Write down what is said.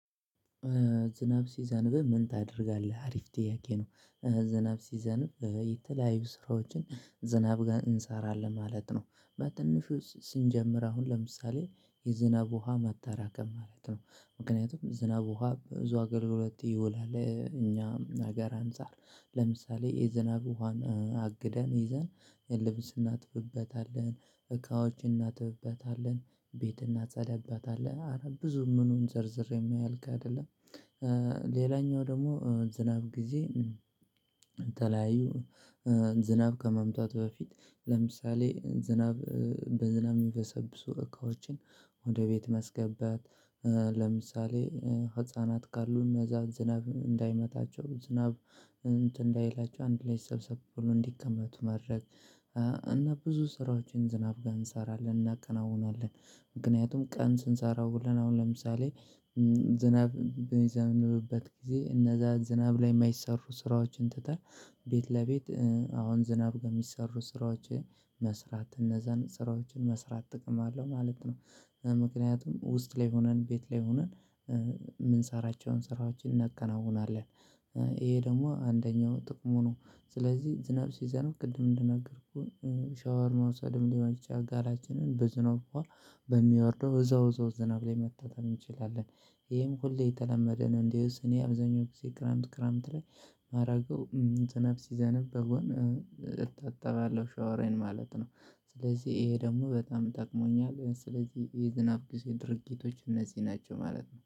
ዝናብ ሲዘንብ ምን ታደርጋለህ? አሪፍ ጥያቄ ነው። ዝናብ ሲዘንብ የተለያዩ ስራዎችን ዝናብ ጋር እንሰራለን ማለት ነው። በትንሹ ስንጀምር አሁን ለምሳሌ የዝናብ ውሃ ማጠራቀም ማለት ነው። ምክንያቱም ዝናብ ውሃ ብዙ አገልግሎት ይውላል። እኛም ሀገር አንፃር። ለምሳሌ የዝናብ ውሃን አግደን ይዘን ልብስ እናጥብበታለን፤ እቃዎች እናጥብበታለን፤ ቤት እናጸዳብበታለን፤ አረ ብዙ ምኑን ዘርዝሬ የሚያልቅ አይደለም። ሌላኛው ደግሞ ዝናብ ጊዜ የተለያዩ ዝናብ ከመምጣቱ በፊት ለምሳሌ ዝናብ በዝናብ የሚበሰብሱ እቃዎችን ወደ ቤት ማስገባት ለምሳሌ ህፃናት ካሉን እነዛ ዝናብ እንዳይመታቸው ዝናብ እንትን እንዳይላቸው አንድ ላይ ሰብሰብ ብለው እንዲቀመጡ ማድረግ። እና ብዙ ስራዎችን ዝናብ ጋር እንሰራለን እናከናውናለን። ምክንያቱም ቀን ስንሰራው ውለን አሁን ለምሳሌ ዝናብ በሚዘንብበት ጊዜ እነዛ ዝናብ ላይ የማይሰሩ ስራዎችን ትተን ቤት ለቤት አሁን ዝናብ ጋር የሚሰሩ ስራዎችን መስራት። እነዛን ስራዎችን መስራት ጥቅም አለው ማለት ነው። ምክንያቱም ውስጥ ላይ ሆነን ቤት ላይ ሆነን የምንሰራቸውን ስራዎችን እናከናውናለን። ይሄ ደግሞ አንደኛው ጥቅሙ ነው ስለዚህ ዝናብ ሲዘንብ ቅድም እንደነገርኩህ ሻወር መውሰድም ሊሆን ይችላል፤ ገላችንን በዝናብ ውሃ በሚወርደው እዛው በዛው ዝናብ ላይ መታጠብ እንችላለን። ይሄም ሁሌ የተለመደ ነው። እንዲያውስ አብዛኛው ጊዜ ክረምት ክረምት ላይ ማድረገው ዝናብ ሲዘነብ በጎን እታጠባለሁ ሻወሬን ማለት ነው። ስለዚህ ይሄ ደግሞ በጣም ጠቅሞኛል። ስለዚህ የዝናብ ጊዜ ድርጊቶች እነዚህ ናቸው ማለት ነው።